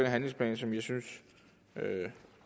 handlingsplan som jeg synes